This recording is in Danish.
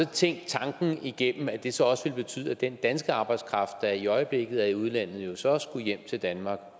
tænkt tanken igennem nemlig at det så også ville betyde at den danske arbejdskraft der i øjeblikket er i udlandet jo så også skulle hjem til danmark